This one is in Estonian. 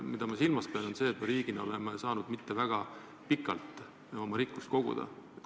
Ma pean silmas seda, et me riigina pole saanud kuigi kaua rikkust koguda.